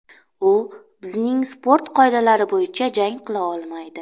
U bizning sport qoidalari bo‘yicha jang qila olmaydi.